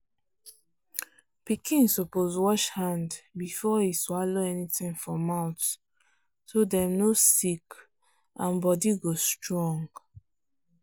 pikin suppose wash hand before e swallow anything for mouth so dem no sick and body go strong.